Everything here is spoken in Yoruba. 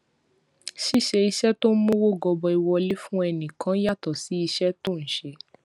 ṣíṣe iṣé tó ń mówó gọbọi wọlé fún ẹnì kan yàtò sí iṣé tó ń ṣe